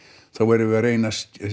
þá erum við að reyna